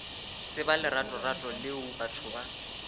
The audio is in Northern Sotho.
tseba leratorato leo batho ba